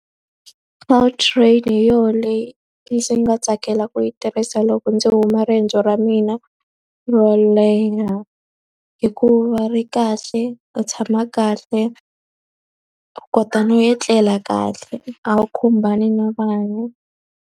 Gautrain hi yona leyi ndzi nga tsakela ku yi tirhisa loko ndzi huma riendzo ra mina ro leha. Hikuva ri kahle, u tshama kahle, u kota no etlela kahle, a wu khumbani na vanhu.